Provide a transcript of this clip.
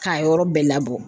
K'a yɔrɔ bɛɛ labɔ